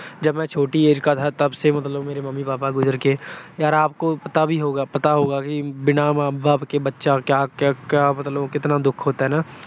ਜਬ ਮੇਂ ਛੋਟੀ age ਕਾ ਥਾ, ਤਬ ਸੇ ਮੇਰੇ ਮੰਮੀ-ਪਾਪਾ ਗੁਜਰ ਗਏ। ਯਾਰ ਆਪਕੋ ਪਤਾ ਵੀ ਹੋਗਾ ਅਹ ਪਤਾ ਹੋਗਾ ਕਿ ਬਿਨਾਂ ਮਾਂ ਬਾਪ ਕੇ ਬੱਚਾ ਕਿਆ ਅਹ ਕਿਆ ਮਤਲਬ ਕਿਤਨਾ ਦੁੱਖ ਹੋਤਾ ਹੈ ਨਾ।